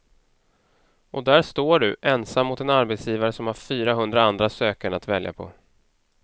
Och där står du, ensam mot en arbetsgivare som har fyrahundra andra sökande att välja på.